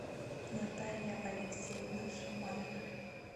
наталья алексеевна шаманова